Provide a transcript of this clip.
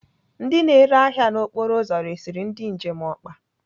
Ndị na-ere ahịa n'okporo ụzọ resiri ndị njem ọkpa.